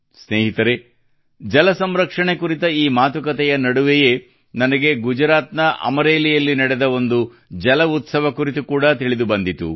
ಸ್ನೇಹಿತರೇ ಜಲ ಸಂರಕ್ಷಣೆ ಕುರಿತ ಈ ಮಾತುಕತೆಯ ನಡುವೆಯೇ ನನಗೆ ಗುಜರಾತ್ ನ ಅಮರೇಲಿಯಲ್ಲಿ ನಡೆದ ಒಂದು ಜಲ ಉತ್ಸವ ಕುರಿತು ಕೂಡಾ ತಿಳಿದುಬಂದಿತು